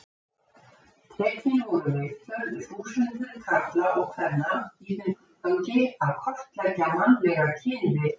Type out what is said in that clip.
Tekin voru viðtöl við þúsundir karla og kvenna í þeim tilgangi að kortleggja mannlega kynvitund.